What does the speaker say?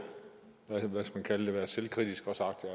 været hvad skal man kalde det selvkritisk og sagt at